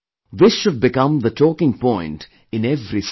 This should become the talking point in every city